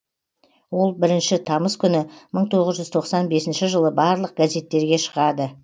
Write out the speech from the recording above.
ол бірінші тамыз күні мың тоғыз жүз тоқсан бесінші жылы барлық газеттерге шығады